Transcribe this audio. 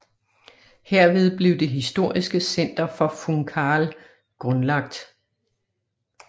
Herved blev det historiske center for Funcahl grundlagt